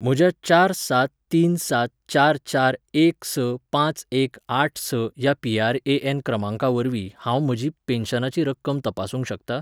म्हज्या चार सात तीन सात चार चार एक स पांच एक आठ स ह्या पीआरएएन क्रमांकावरवीं हांव म्हजी पेन्शनाची रक्कम तपासूंक शकता ?